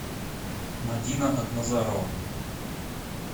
мадина акназарова